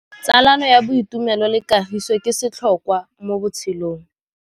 Tsalano ya boitumelo le kagiso ke setlhôkwa mo botshelong.